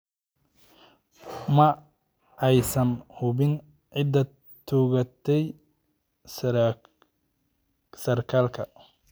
Ma aysan hubin cidda toogatay sarkaalka.